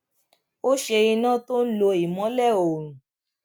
ó ṣe ina to n lo ìmólè oòrùn